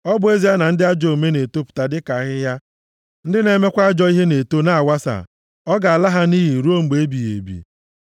ọ bụ ezie na ndị ajọ omume na-etopụta dịka ahịhịa ndị na-emekwa ajọ ihe na-eto na-awasa, a ga-ala ha nʼiyi ruo mgbe ebighị ebi.